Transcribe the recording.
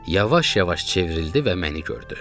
Yavaş-yavaş çevrildi və məni gördü.